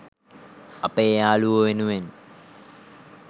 අපේ යාළුවො වෙනුවෙන්.